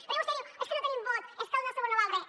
perquè vostè diu és que no tenim vot és que el nostre vot no val res